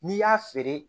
N'i y'a feere